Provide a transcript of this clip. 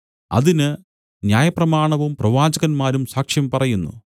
അതിന് ന്യായപ്രമാണവും പ്രവാചകന്മാരും സാക്ഷ്യം പറയുന്നു